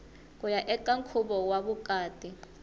kuya eka nkhuvo wa vukati